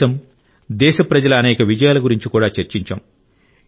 దేశం దేశస్థుల అనేక విజయాల గురించి కూడా చర్చించాం